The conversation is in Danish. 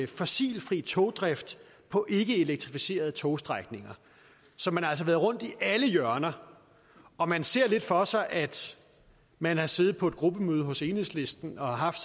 fossilfri togdrift på ikkeelektrificerede togstrækninger så man har altså været rundt i alle hjørner og man ser lidt for sig at man har siddet på et gruppemøde hos enhedslisten og haft